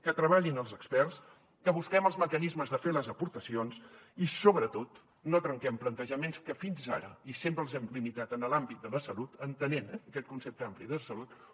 que treballin els experts que busquem els mecanismes de fer les aportacions i sobretot no trenquem plantejaments que fins ara i sempre els hem limitat en l’àmbit de la salut entenent eh aquest concepte ampli de salut